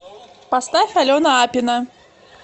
поставь алена апина